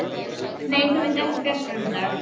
Nei, það myndi ekki bjarga honum í dag.